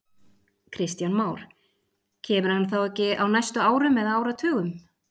Kristján Már: Kemur hann þá ekki á næstu árum eða áratugum?